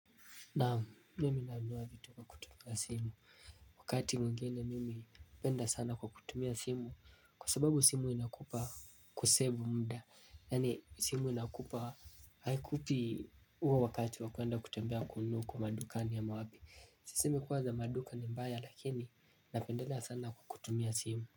Naam mimi nanunua vitu kwa kutumia simu. Wakati mwingine mimi hupenda sana kwa kutumia simu. Kwa sababu simu inakupa ku save muda. Yaani simu inakupa haikupi huo wakati wa kwenda kutembea kununua huko madukani ama wapi. Simu kuwa za maduka ni mbaya lakini napendela sana kwa kutumia simu.